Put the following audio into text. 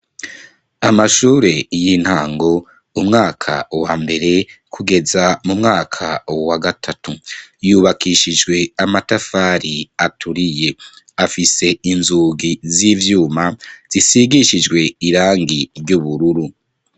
Amashure y'intango, umwaka wa mbere, kugeza mu mwaka wa gatatu, yubakishijwe amatafari aturiye; afise inzugi z'ivyuma zisigishijwe irangi ry'ubururu.